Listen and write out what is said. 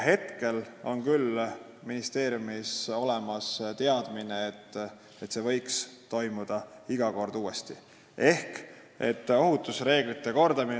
Praegu on ministeeriumil küll teadmine, et see koolitus võiks iga kord uuesti toimuda.